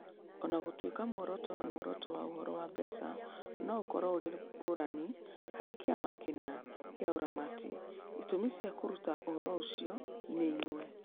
O na gũtuĩka muoroto na muoroto wa ũhoro wa mbeca no ũkorũo ũrĩ ngũrani harĩ kĩama kĩna kĩa ũramati, itũmi cia kũruta ũhoro ũcio nĩ imwe.